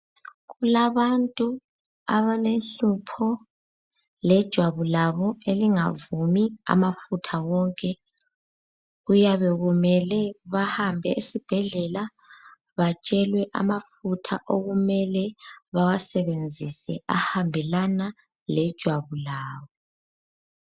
Kulabantu abalenhlupho lejwabu labo elingavumi amafutha wonke. Kuyabe kumele bahambe esibhedlela batshelwe amafutha okumele bawasebenzise ahambelana lejwabu labo.